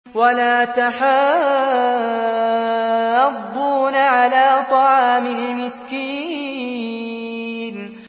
وَلَا تَحَاضُّونَ عَلَىٰ طَعَامِ الْمِسْكِينِ